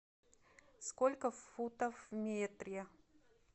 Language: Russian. сколько футов в метре